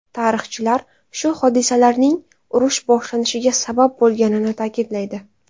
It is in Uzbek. Tarixchilar shu hodisalarning urush boshlanishiga sabab bo‘lganini ta’kidlaydi.